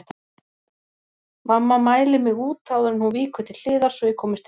Mamma mælir mig út áður en hún víkur til hliðar svo ég komist inn.